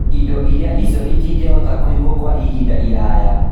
Indo iria icio itingĩhota kũigwo Kwa ihinda iraya